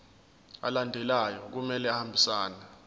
alandelayo kumele ahambisane